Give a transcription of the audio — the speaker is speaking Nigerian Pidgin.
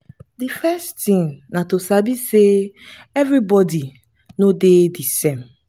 the first thing na to sabi sey everybody no dey di same